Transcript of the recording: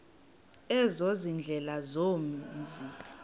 ezo ziindlela zomzi